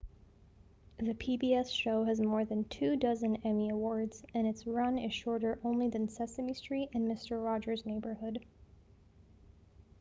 the pbs show has more than two-dozen emmy awards and its run is shorter only than sesame street and mister rogers' neighborhood